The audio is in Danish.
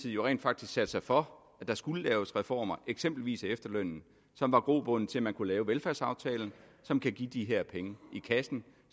jo rent faktisk satte sig for at der skulle laves reformer eksempelvis af efterlønnen som var grobunden til at man kunne lave velfærdsaftalen som kan give de her penge i kassen